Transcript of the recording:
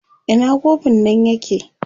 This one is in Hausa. Ina kofin nan yake?